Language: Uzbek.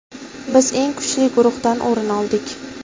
Biz eng kuchli guruhdan o‘rin oldik.